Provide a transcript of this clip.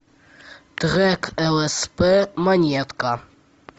трек лсп монетка